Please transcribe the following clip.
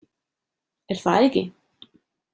Er það ekki?